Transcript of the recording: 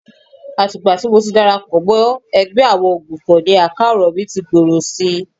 Àti ìgbà tí mo ti darapọ̀ mọ́ ẹgbẹ́ àwọn Òǹgbufọ̀ ni àká ọ̀rọ̀ mí tí ń gbòòrò si